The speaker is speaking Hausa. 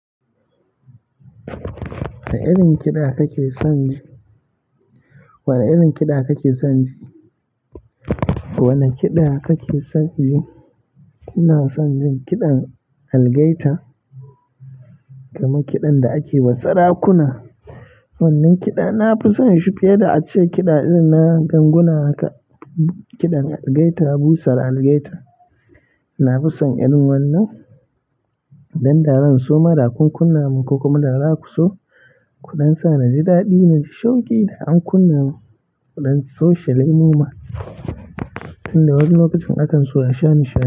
Wane irin kiɗa kake son? Wane irin kiɗa kake son ji? Wane kiɗa kake son ji? Ina son jin kiɗan algaita, kamar kiɗan da akewa sarakuna. Wannan kiɗa na fi son shi fiye da ace kiɗa irin na ganguna haka. Kiɗan algaita, busar algaita. Na fi son irin wannan, don da zan so ma da kun kunna mun, ko kuma da za ku so, kuɗan sa naji daɗi nai shauki da an kunnan, mu ɗan shoshela mu ma, tun da wani lokacin akan so a sha nishaɗi.